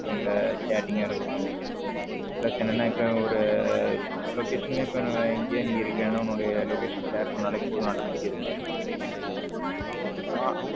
இப்போ உள்ள chatting ஆ இருக்கட்டும் plus என்னன்னா இப்போ ஒரு location நே இப்போ எங்கே நீ இருக்கான location share பண்ணலே போதும் automatic இது பண்ணிரலாம் ஆ.